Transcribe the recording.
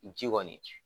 Ji kɔni